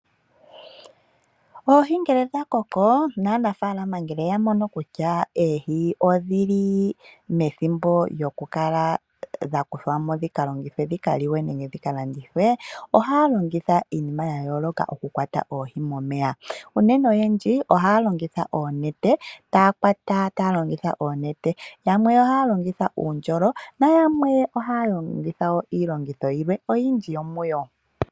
Oohi ngele dha koko, naanafaalama ngele ya mono kutya oohi odhili methimbo lyoku kala dha kuthwa mo dhi ka liwe nenge dhi ka landithwe, ohaya longitha iinima ya yooloka oku kwata oohi momeya. Unene oyendji ohaya longitha oonete, taya kwata taya longitha oonete. Yamwe ohaya longitha uundjolo nayamwe ohaya longitha wo iilongitho yilwe oyindji yomuyo.